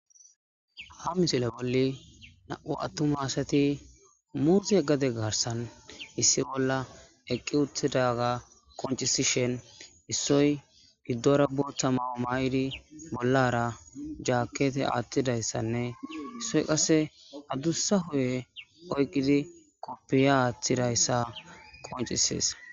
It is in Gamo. ha misile bolli na7u attuma asati muuxi e gade garsan issi bolla eqqi uttidaga qoncisishen issoy hiddora botha mawu ma7idi bollara jaakete aattidayssanne issoy qase addussa huye oyqqidi koppiya aaththidayssa qoncisees